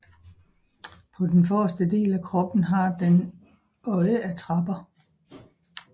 På den forreste del af kroppen har den øjeattrapper